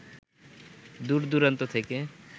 দূর-দূরান্ত থেকে